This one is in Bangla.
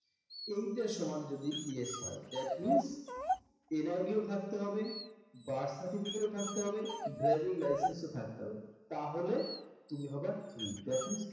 এইটা সমান যদি yes হয় that means NID ও থাকতে হবে birth certificate ও থাকতে হবে driving license ও থাকতে হবে তাহলে তুমি হবে true that means